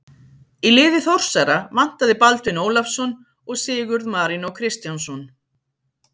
Í liði Þórsara vantaði Baldvin Ólafsson og Sigurð Marinó Kristjánsson.